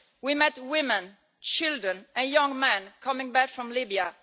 We met women, children and young men coming back from Libya.